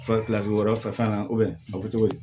wɛrɛ fɛ fɛn na